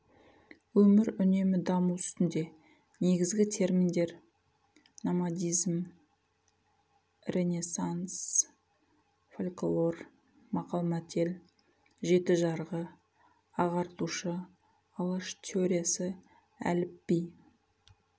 өмір үнемі даму үстінде негізгі терминдер номадизм ренессанс фольклор мақал-мәтел жеті жарғы ағартушы алаш теориясы әліпби